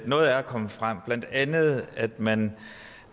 noget er kommet frem blandt andet at man